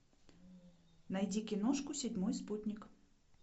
найди киношку седьмой спутник